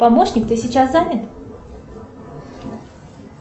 помощник ты сейчас занят